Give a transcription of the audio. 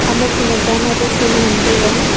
ama khunak dama pu field ngan taiga.